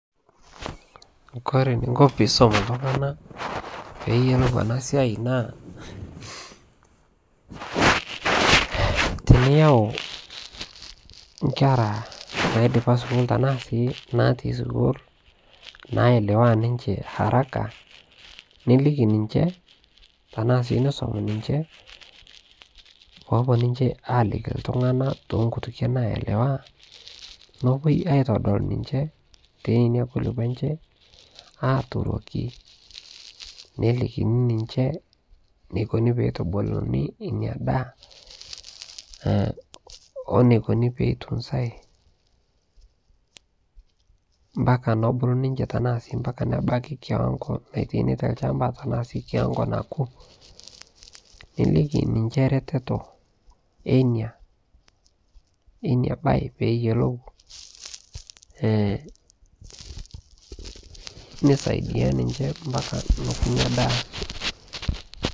kore ninko piisome eltungana peeyolou anaa siai naa tiniyau nkera naidipaa suukul tanaa sii natii sukuul nayelewaa ninchee haraka nilikii ninchee tanaa sii nisom ninchee poopuo ninchee aliki ltunganaa to nkutukee naelewaa nopuoi aitodol ninchee tenenia kulipoo enchee aturokii nelikinii ninshee neikonii peitubulunii inia daa oo neikunii peitunzai mpakaa nobuluu ninchee tanaa sii mpaka nebakii kiwangoo naitaini te lshampaa tanaa sii kiwango nakuu nilikii ninshee retetoo einia bai peeyolou nesaidia ninshee mpaka nokuu inia daa